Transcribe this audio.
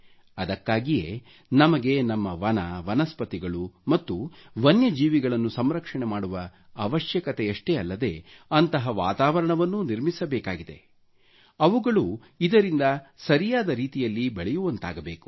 ಅದಕ್ಕಾಗಿಯೆ ನಮಗೆ ನಮ್ಮ ವನ ವನಸ್ಪತಿಗಳು ಮತ್ತು ವನ್ಯ ಜೀವಿಗಳನ್ನು ಸಂರಕ್ಷಣೆ ಮಾಡುವ ಅವಶ್ಯಕತೆಯಷ್ಟೆಯಲ್ಲದೆ ಅಂತಹ ವಾತಾವರಣವನ್ನೂ ನಿರ್ಮಿಸಬೇಕಾಗಿದೆ ಅವುಗಳು ಇದರಿಂದ ಸರಿಯಾದ ರೀತಿಯಲ್ಲಿ ಬೆಳೆಯುವಂತಾಗಬೇಕು